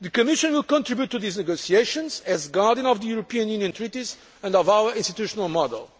The Commission will contribute to these negotiations as guardian of the European Union Treaties and of our institutional